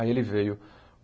Aí ele veio.